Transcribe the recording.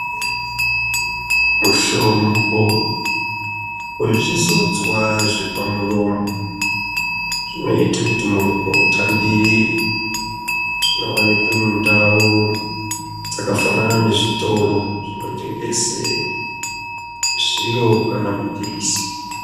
Mitombo yezvizodzwa zvepamuromo zvinoite kuti muromo utambirire ,zvinowanikwe nuntawo dzakafanana nezvitoro zvinotengese zviro kana mapilisi.